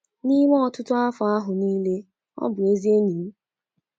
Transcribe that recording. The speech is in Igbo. N’ime ọtụtụ afọ ahụ nile, ọ bụ ezi enyi m.